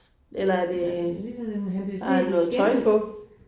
Eller er det. Har den noget tøj på?